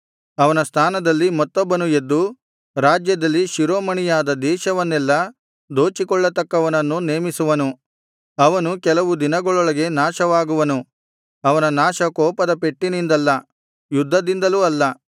ಅವನ ಸ್ಥಾನದಲ್ಲಿ ಮತ್ತೊಬ್ಬನು ಎದ್ದು ರಾಜ್ಯದಲ್ಲಿ ಶಿರೋಮಣಿಯಾದ ದೇಶವನ್ನೆಲ್ಲ ದೋಚಿಕೊಳ್ಳತಕ್ಕವನನ್ನು ನೇಮಿಸುವನು ಅವನು ಕೆಲವು ದಿನಗಳೊಳಗೆ ನಾಶವಾಗುವನು ಅವನ ನಾಶ ಕೋಪದ ಪೆಟ್ಟಿನಿಂದಲ್ಲ ಯುದ್ಧದಿಂದಲೂ ಅಲ್ಲ